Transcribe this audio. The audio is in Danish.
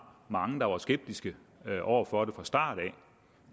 mange der var skeptiske over for det fra starten